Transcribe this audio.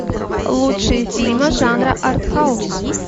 лучшие фильмы жанра арт хаус